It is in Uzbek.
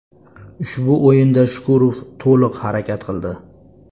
Ushbu o‘yinda Shukurov to‘liq harakat qildi.